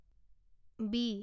B